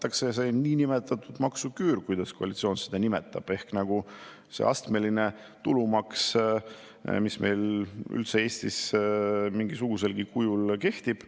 Ja kui lugeda selle eelnõu, siis on öeldud, et näiteks aastast 2024 kaotatakse füüsilise isiku täiendav maksuvaba tulu lapse ülalpidamise korral ja abikaasa eest, kaotatakse õigus arvata oma maksustatavast tulust maha eluasemelaenu intressid.